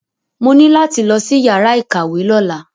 Mo ní láti lọ sí yàrá ìkàwé lọ́la.